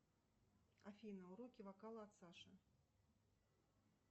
афина уроки вокала от саши